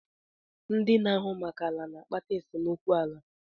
ndị na-ahụ maka ala na-akpata esemokwu ala.